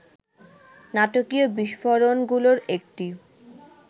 নাটকীয় বিস্ফোরণগুলোর একটি